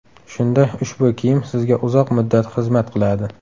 Shunda ushbu kiyim sizga uzoq muddat xizmat qiladi.